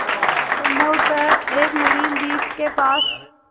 संभवत एक नवीन द्वीप के पास